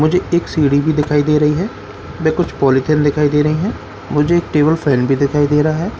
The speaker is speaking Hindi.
मुझे एक सिढ़ी भी दिखाई दे रही है व कुछ पॉलिथीन भी दिखाई दे रही है मुझे एक टेबल फैन भी दिखाई दे रहा है ।